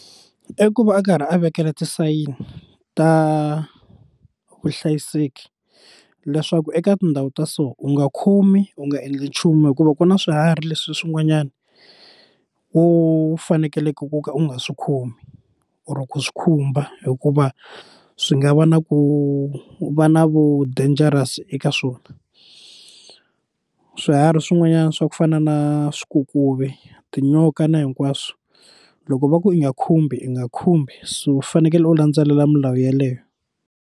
I ku va a karhi a vekela tisayini ta vuhlayiseki leswaku eka tindhawu ta so u nga khomi u nga endli nchumu hikuva ku na swiharhi leswi swin'wanyani wo fanekeleke ku ka u nga swi khomi or ku swi khumba hikuva swi nga va na ku va na vu dangerous eka swona swiharhi swin'wanyana swa ku fana na swikokovi tinyoka na hinkwaswo loko va ku i nga khumbi u nga khumbi so u fanekele u landzelela milawu yeleyo.